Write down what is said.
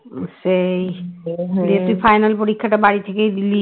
সেই দিয়ে তুই final পরীক্ষাটা বাড়ি থেকেই দিলি